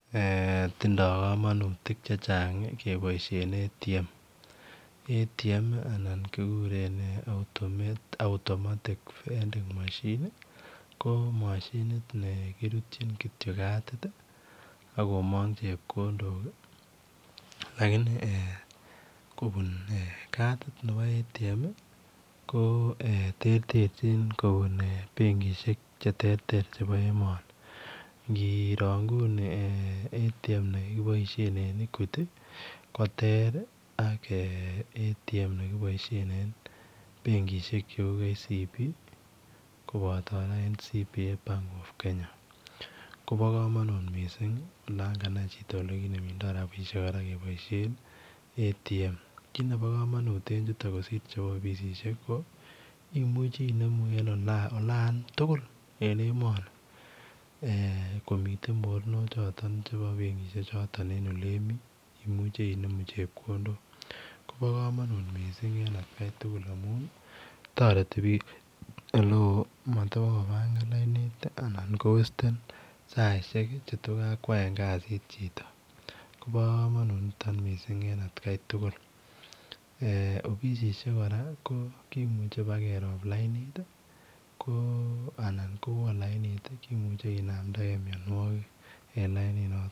Eh tindoi kamanutiik che chaang kebaisheen [automatic vending machine] [automatic vending machine] ko mashiniit nekirutyiin kityo katit ako maang chepkondook lakini kobunui katit nebo [automatic vending machine] ii ko eeh terterjiin kobuun benkishek che terter chebo emani ingoro nguni nebo [equity] ak [automatic vending machine] nekibaisheen en benkishek che uu [Kenya commercial bank] koba kora [ national bank of Kenya] koba kamanut missing ii olaan kanai chitoo ole kinemundo rapisheek kebaisheen ii ATM kit nebo kamanut kosiir ce bo offissiek ii ko imuchei inemuu en olaan tuguul en emani komiten mornok chotoon chebo benkishek chotoon en ole Mii koba kamanut missing en at Kai tuguul amuun taretii biik ole wooh mat ivako pangan lainit iianan ko western che though kakwaen kaziit chitoo koba kamanut nitoon missing en at Kai offis8kora kimuchei ibaa keroop lainit ii ko anan ko ko wooh lainit kimuchei kinamdagei mianwagik en lainit notoon.